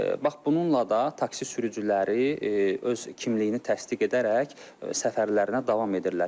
Bax bununla da taksi sürücüləri öz kimliyini təsdiq edərək səfərlərinə davam edirlər.